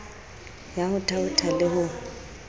ya ho thaotha le ho